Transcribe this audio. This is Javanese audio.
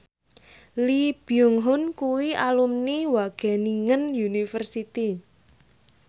Lee Byung Hun kuwi alumni Wageningen University